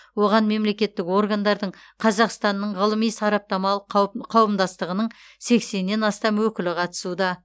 оған мемлекеттік органдардың қазақстанның ғылыми сараптамалық қау қауымдастығының сексеннен астам өкілі қатысуда